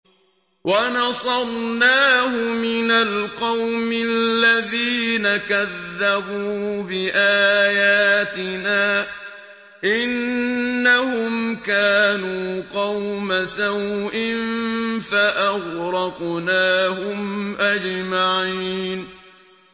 وَنَصَرْنَاهُ مِنَ الْقَوْمِ الَّذِينَ كَذَّبُوا بِآيَاتِنَا ۚ إِنَّهُمْ كَانُوا قَوْمَ سَوْءٍ فَأَغْرَقْنَاهُمْ أَجْمَعِينَ